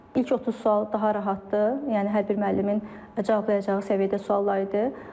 İlk 30 sual daha rahatdır, yəni hər bir müəllimin cavablayacağı səviyyədə suallar idi.